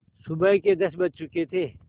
सुबह के दस बज चुके थे